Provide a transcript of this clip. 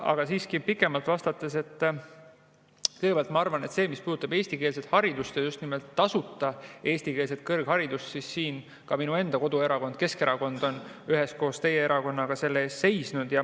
Aga pikemalt vastates ma kõigepealt arvan, et mis puudutab eestikeelset haridust ja just nimelt tasuta eestikeelset kõrgharidust, siis siin ka minu enda koduerakond Keskerakond on üheskoos teie erakonnaga selle eest seisnud.